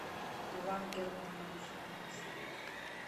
иван германович анисимов